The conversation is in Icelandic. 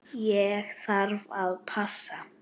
Ég þarf að passa.